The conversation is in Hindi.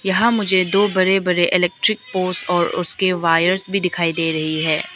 यहां मुझे दो बड़े बड़े इलेक्ट्रिक पोस और उसके वायर्स भी दिखाई दे रही है।